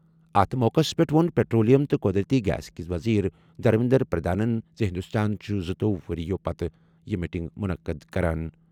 اَتھ موقعَس پٮ۪ٹھ ووٚن پیٹرولیم تہٕ قۄدرٔتی گیس کِس وزیرِ دھرمیندر پردھانَن زِ ہندوستان چھُ زٕتوۄہُ ؤرۍ یَو پتہٕ چھِ یہِ میٹنگ منعقد کران۔